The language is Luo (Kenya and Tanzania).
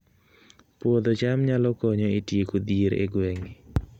Puodho cham nyalo konyo e tieko dhier e gwenge